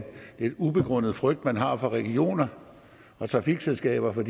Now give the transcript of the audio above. ubegrundet frygt man har i regionerne og trafikselskaberne